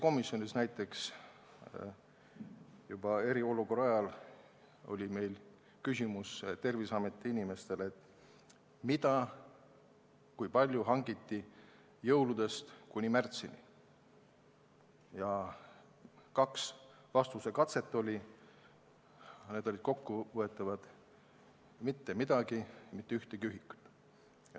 Küsisime eriolukorra ajal riigikaitsekomisjonis Terviseameti inimestelt, mida ja kui palju hangiti jõuludest kuni märtsini, ning saime neilt kahel korral vastuse, mille sisu oli kokkuvõtlikult järgmine: mitte midagi, mitte ühtegi ühikut.